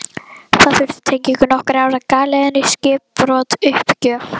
Það þurfti tengingu, nokkur ár á galeiðunni, skipbrot, uppgjöf.